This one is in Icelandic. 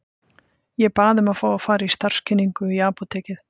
Ég bað um að fá að fara í starfskynningu í apótekið.